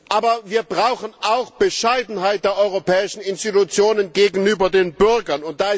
Aber wir brauchen auch Bescheidenheit der europäischen Institutionen gegenüber den Bürgern.